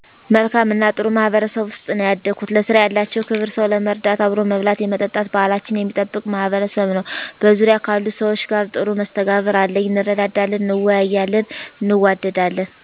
መልካም እና ጥሩ ማህበረሰብ ውስጥ ነው ያደኩት። ለስራ ያላቸው ክብር ሰው ለመርዳት አብሮ መብላት የመጠጣት ባሕላችንን የሚጠብቅ ማሕበረሰብ ነው። በዙርያ ካሉት ሰዎች ጋር ጥሩ መስተጋብር አለኚ እንረዳዳለን እንወያያለን እንዋደዳለን።